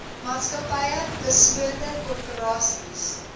maatskappye beslote korporasies